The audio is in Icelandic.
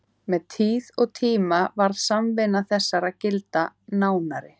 Með tíð og tíma varð samvinna þessara gilda nánari.